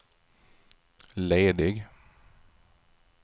ledig